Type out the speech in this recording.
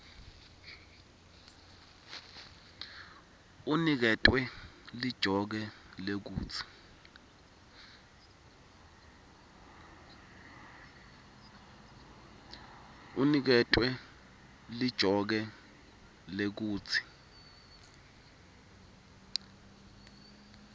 uniketwe lijoke lekutsi